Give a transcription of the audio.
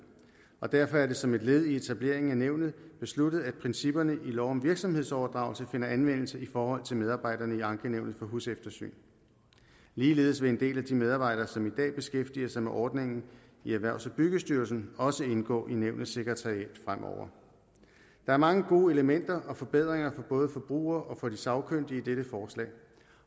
og derfor er det som et led i etableringen af nævnet besluttet at principperne i lov om virksomhedsoverdragelse finder anvendelse i forhold til medarbejderne i ankenævnet for huseftersyn ligeledes vil en del af de medarbejdere som i dag beskæftiger sig med ordningen i erhvervs og byggestyrelsen også indgå i nævnets sekretariat fremover der er mange gode elementer og forbedringer for både forbrugere og de sagkyndige i dette forslag